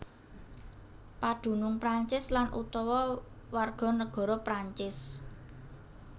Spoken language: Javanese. Padunung Prancis lan utawa warganegara Prancis